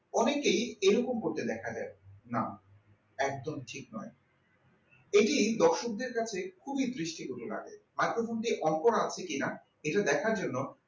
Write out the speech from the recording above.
অনেকে এরকম হতে দেখা যায় না একদমই ঠিক নয় এটি দর্শকদের কাছে খুবই দৃষ্টিকটু লাগে, microphone টি অনকোন আছে কিনা এটা দেখার জন্য